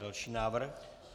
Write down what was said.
Další návrh.